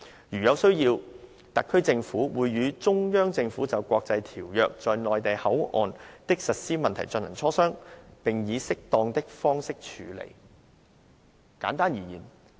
如有需要，特區政府會與中央政府就國際條約在'內地口岸區'的實施問題進行磋商，並以適當的方式處理。